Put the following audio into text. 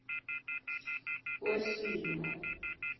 wesimo